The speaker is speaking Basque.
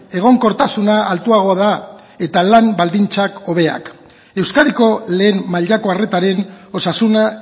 egonkortasuna altuagoa da eta lan baldintzak hobeak euskadiko lehen mailako arretaren osasuna